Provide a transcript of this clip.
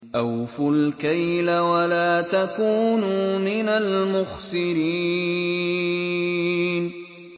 ۞ أَوْفُوا الْكَيْلَ وَلَا تَكُونُوا مِنَ الْمُخْسِرِينَ